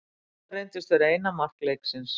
Þetta reyndist vera eina mark leiksins.